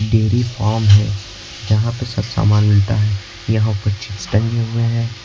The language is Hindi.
टी_वी ऑन है यहां पे सस्ता माल मिलता है यहां पर चिप्स टंगे हुए हैं।